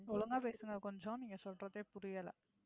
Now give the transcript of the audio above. ஒழுங்கா பேசுங்க கொஞ்சம் நீங்க சொல்றதே புரியலை.